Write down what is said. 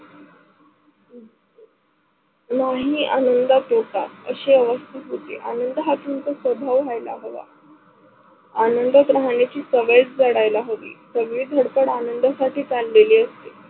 नाही आनंद तोटा असी अवस्तेत होती. आनंद हा तुमचा स्वभाव व्हायेला हवा. आनंदात राहण्याची सवय जडायल हवी. सगळे धडपड आनंदात साठी चाललेले असते.